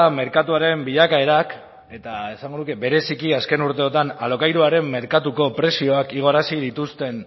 merkatuaren bilakaerak eta esango nuke bereziki azken urteetan alokairuaren merkatuko prezioak igoarazi dituzten